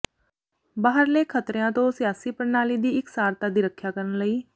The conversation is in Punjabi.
ਬਾਹਰਲੇ ਖਤਰਿਆਂ ਤੋਂ ਸਿਆਸੀ ਪ੍ਰਣਾਲੀ ਦੀ ਇਕਸਾਰਤਾ ਦੀ ਰੱਖਿਆ ਕਰਨ ਲਈ